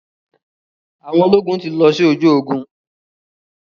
Àwọn ológun ti lọ sí ojú ogun.